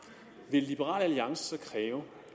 liberal alliance så kræve